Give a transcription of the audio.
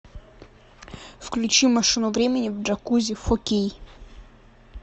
включи машину времени в джакузи фор кей